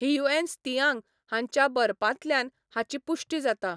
Hiuen Tsang हाच्या बरपांतल्यान हाची पुष्टी जाता.